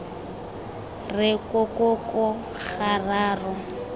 re ko ko ko gararo